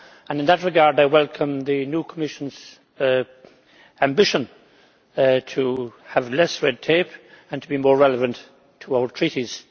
In that regard, I welcome the new Commission's ambition to have less red tape and to be more relevant to our treaties